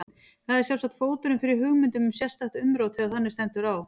Það er sjálfsagt fóturinn fyrir hugmyndum um sérstakt umrót þegar þannig stendur á.